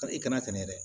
Ka i kana sɛnɛ dɛ